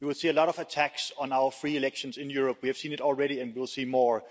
We will see a lot of attacks on our free elections in Europe, we have seen it already, and we will see more.